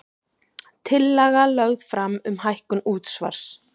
Tillaga lögð fram um hækkun útsvars